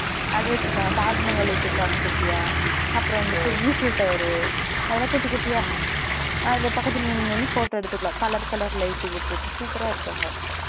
அது வச்சிருக்காங்க தாஜ்மகால் வச்சிருக்காங்க குட்டிய அப்புறம் வந்துட்டு Eiffel tower அதுலாம் குட்டி குட்டியா அதுல பக்கத்துல நின்னுநின்னு photo எடுத்துக்குலாம் color color light க போட்டு super இருக்கு அங்க